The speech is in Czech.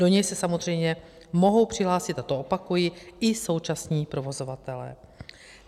Do něj se samozřejmě mohou přihlásit - a to opakuji - i současní provozovatelé.